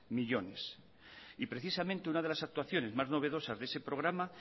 millónes y precisamente una de las actuaciones más novedosas de ese programa